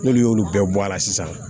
N'olu y'olu bɛɛ bɔ a la sisan